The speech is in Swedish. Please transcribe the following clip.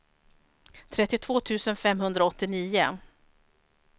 trettiotvå tusen femhundraåttionio